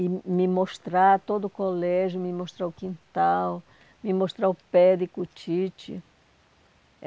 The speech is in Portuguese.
e me mostrar todo o colégio, me mostrar o quintal, me mostrar o Périco, o Tite.